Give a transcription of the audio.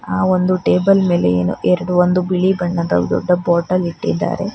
ಒಂದು ಟೇಬಲ್ ಮೇಲೆ ಏನು ಎರಡು ಒಂದು ಬಿಳಿ ಬಣ್ಣದ ದೊಡ್ಡ ಬಾಟಲ್ ಇಟ್ಟಿದ್ದಾರೆ.